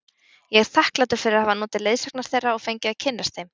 Ég er þakklátur fyrir að hafa notið leiðsagnar þeirra og fengið að kynnast þeim.